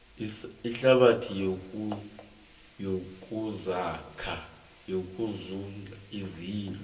ihlabathi yokusinda izindlu